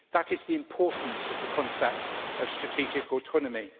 That is the importance of the concept of strategic autonomy.